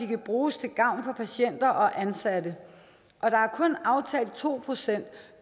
kan bruges til gavn for patienter og ansatte der er kun aftalt to procent